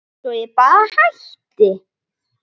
Svo að ég bara hætti.